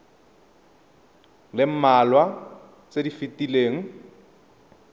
le mmalwa tse di fetileng